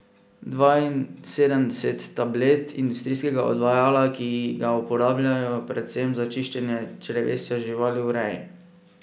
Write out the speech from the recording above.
Dvainsedemdeset tablet industrijskega odvajala, ki ga uporabljajo predvsem za čiščenje črevesja živali v reji.